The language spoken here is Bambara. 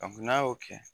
n'a y'o kɛ